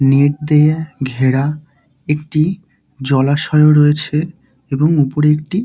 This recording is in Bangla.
নেট দিয়ে ঘেরা একটি জলাশয় রয়েছে এবং উপর একটি --